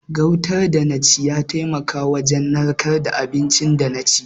Gautan da na ci ya taimaka wajen narkar da abinci da na ci.